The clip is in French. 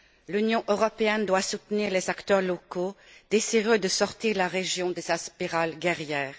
L'Union européenne doit soutenir les acteurs locaux désireux de sortir la région de sa spirale guerrière.